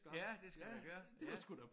Ja det skal jeg gøre ja